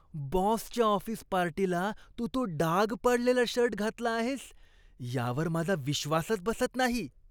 बॉसच्या ऑफिस पार्टीला तू तो डाग पडलेला शर्ट घातला आहेस यावर माझा विश्वासच बसत नाही.